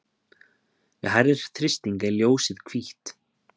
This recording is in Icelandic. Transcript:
við hærri þrýsting er ljósið hvítt